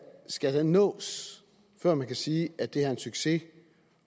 skal nås før man kan sige at det er en succes